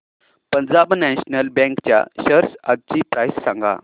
Punjab national bank च्या shares आजची price सांगा